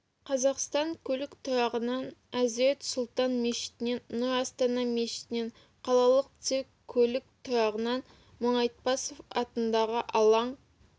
қазақстан көлік тұрағынан әзірет сұлтан мешітінен нұр астана мешітінен қалалық цирк көлік тұрағынан мұңайтпасов атындағы алаң